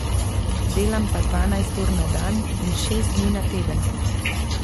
Delam pa dvanajst ur na dan in šest dni na teden.